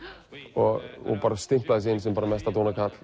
og stimplaði sig inn sem mesta